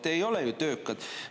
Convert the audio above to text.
Te ei ole ju töökad.